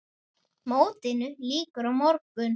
Mótinu lýkur á morgun.